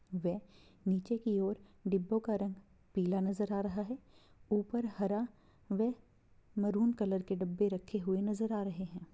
वे नीचे की ओर डिब्बो का रंग पिला नजर आ रहा है । ऊपर हरा वे मैरून कलर के डब्बे रखे हुए नजर आ रहै है।